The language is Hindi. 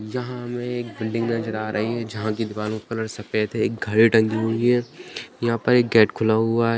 यहाँ हमें एक बिल्डिंग नजर आ रही है जहाँ की दुकानों का कलर सफेद है एक घड़ी टंगी हुई है यहाँ पर एक गेट खुला हुआ है।